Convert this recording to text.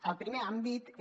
el primer àmbit és